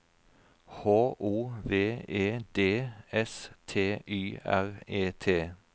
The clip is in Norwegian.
H O V E D S T Y R E T